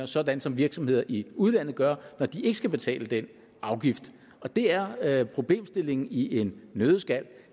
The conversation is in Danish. sådan som virksomheder i udlandet gør når de ikke skal betale den afgift og det er er problemstillingen i en nøddeskal